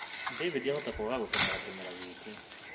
David ahota kwaga gũteng’era kĩmera gĩkĩ